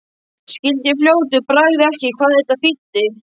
Skildi í fljótu bragði ekki hvað þetta þýddi.